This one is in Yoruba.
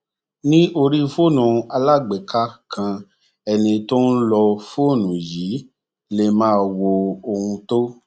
ní orí fóònù alágbèéká kan ẹni tó ń lo fóònù yìí lè máa wo ohun tó